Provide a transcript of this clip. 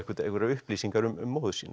einhverjar upplýsingar um móður sína